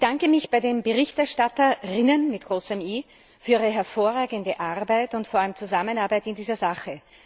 Ich bedanke mich bei den BerichterstatterInnen für ihre hervorragende Arbeit und vor allem Zusammenarbeit in dieser Sache.